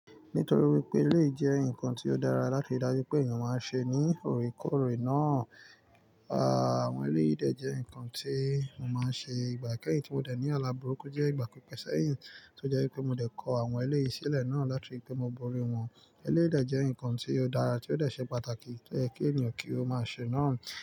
Nítorí wípé eleyi jẹ́ ǹkan tí ó dára láti rí dájú pé ènìyàn máa ń ṣe ní òrékòórè náà, àwọn eléyi dè jẹ́ ǹkan tí mo máa ń ṣe ìgbà kẹ́yìn tí mo dẹ̀ ní alábùrúkú jẹ́ ìgbà pípẹ́ sẹ́yìn ọ jẹ́ wípé mo dẹ̀ kọ àwọn eleyi ìsílẹ̀ náà láti rí pé mo borí wọn. Eleyi dẹ̀ jẹ́ ǹkan tí ó dára tí ó dẹ̀ ṣe pàtàkì kí ènìyàn kí ó máa ṣe náà.